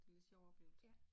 Det en lidt sjov oplevelse